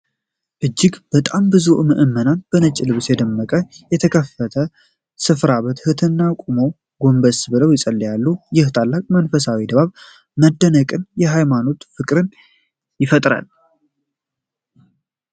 እጅግ በጣም ብዙ ምዕመናን በነጭ ልብስ ደምቀው፣ በተከፈተ ስፍራ በትህትና ቆመውና ጎንበስ ብለው ይጸልያሉ። ይህ ታላቅ መንፈሳዊ ድባብ መደነቅንና ሃይማኖታዊ ፍቅርን ይፈጥራል።